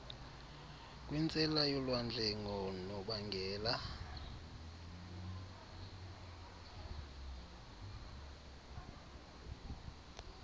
kwintsela yolwandle ngonobangela